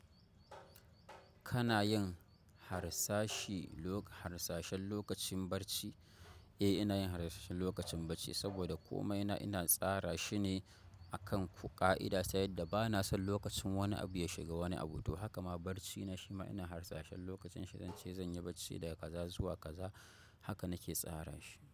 Kana yin harsashi lok-- harsashen lokacin barci? Eh, ina yin harsashen lokacin barci saboda komai na ina tsara shi ne akan ƙa'ida, ta yadda ba na son lokacin wani abu ya shiga wani abu. To haka ma barci na shi ma ina harsashen lokacin shi, zan ce zan yi barci daga kaza zuwa kaza haka nake tsara shi.